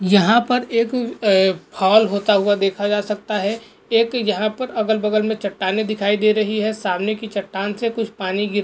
यहाँ पर एक ए फॉल होता हुवा देखा जा सकता है एक यहाँ पर अगल बगल में चट्टाने दिखाई दे रही है सामने की चट्टाण से कूछ पानी गिर --